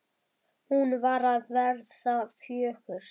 Hún var að verða fjögur.